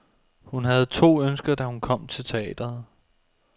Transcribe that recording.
Hun havde to ønsker, da hun kom til teatret.